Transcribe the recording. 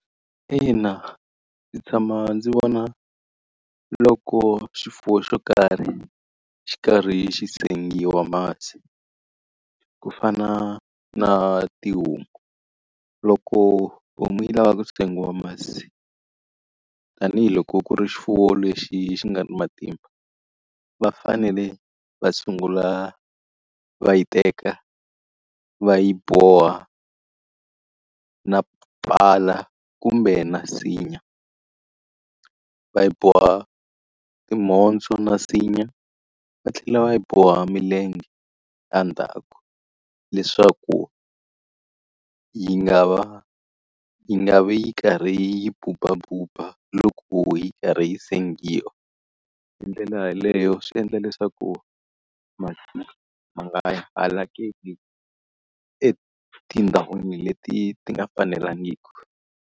Ina, ndzi tshama ndzi vona loko xifuwo xo karhi xi karhi xi sengiwa masi. Ku fana na tihomu, loko homu yi lava ku sengiwa masi, tanihiloko ku ri xifuwo lexi xi nga matimba va fanele va sungula va yi teka va yi boha na pala kumbe na nsinya. Va yi boha timhondzo na nsinya, va tlhela va yi boha milenge endzhaku leswaku yi nga va yi nga vi yi karhi yi bubabuba loko yi karhi yi sengiwa. Hi ndlela yeleyo swi endla leswaku masi ma nga halakeli etindhawini leti ti nga fanelangiki.